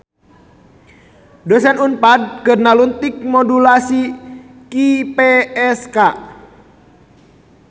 Dosen Unpad keur nalungtik modulasi QPSK